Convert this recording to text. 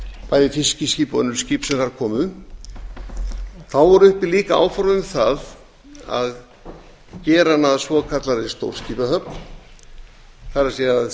bæði fiskiskip og önnur skip sem þar komu þá voru líka uppi áform um að gera hana að svokallaðri stórskipahöfn það er að